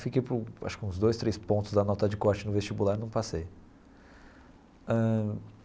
Fiquei por acho que uns dois, três pontos da nota de corte no vestibular e não passei ãh.